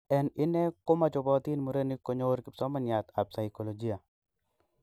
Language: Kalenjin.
En ine ko mochopotin murenik konyor Kipsomaniat ap saikolojia.